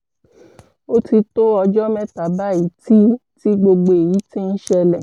ó ti tó ọjọ́ mẹ́ta báyìí tí tí gbogbo èyí ti ń ṣẹlẹ̀